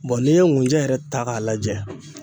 n'i ye ngunjɛ yɛrɛ ta k'a lajɛ